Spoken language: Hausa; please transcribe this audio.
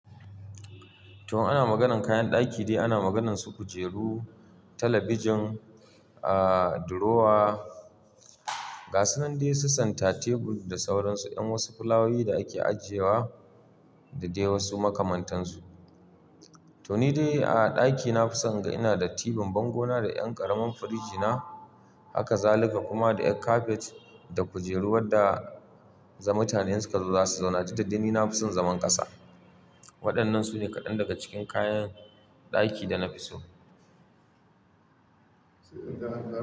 To, ana maganan kayan ɗaki dai ana maganansu kujeru, talabijin, aaa, durowa, gasu nan dai, su senta, tebul da sauransu, yan wasu fulawowi da ake ajiyewa da dai wasu makamantansu. To ni dai a ɗakina fisan ga ina da tibin bango na da ƴan ƙaramin firij na haka zalika kuma da ƴan kafet da kujeru wadda za mutane insuka zo za su zauna dukkadai nafisan zaman ƙasa. Waɗannan sune kaɗan daga cikin kayan ɗaki da na fi so.